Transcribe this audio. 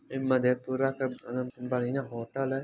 इ मधेपुरा का बढियाँ होटल है।